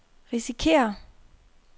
risikerer